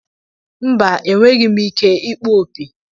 Mba, enweghị m ike ịkpọ opi.